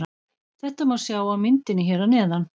Þetta má sjá á myndinni hér að neðan.